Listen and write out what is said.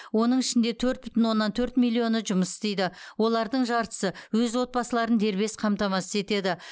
оның ішінде төрт бүтін оннан төрт миллионы жұмыс істейді олардың жартысы өз отбасыларын дербес қамтамасыз етеді